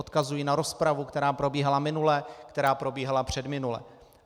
Odkazuji na rozpravu, která probíhala minule, která probíhala předminule.